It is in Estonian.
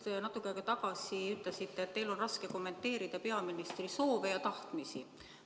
Te just natuke aega tagasi ütlesite, et teil on raske kommenteerida peaministri soove ja tahtmisi.